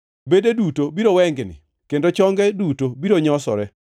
Bede duto biro wengni; kendo chonge duto biro nyosore.